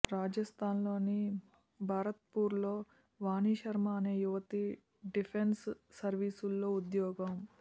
రాజస్థాన్లోని భరత్పూర్లో వాణి శర్మ అనే యువతి డిఫెన్స్ సర్వీస్లో ఉద్యోగం